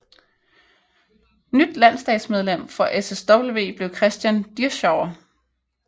Nyt landsdagsmedlem for SSW blev Christian Dirschauer